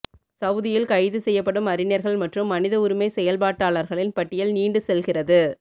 சவூதியில் கைது செய்யப்படும் அறிஞர்கள் மற்றும் மனித உரிமை செயல்பாட்டாளர்களின் பட்டியல் நீண்டு செல்கிறது